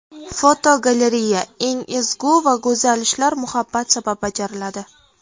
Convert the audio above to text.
Fotogalereya: Eng ezgu va go‘zal ishlar muhabbat sabab bajariladi.